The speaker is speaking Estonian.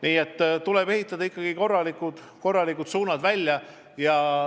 Nii et tuleb ehitada ikkagi korralikud suunad välja.